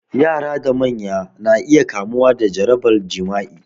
Yara da manya na iya kamuwa da jarabar jima'i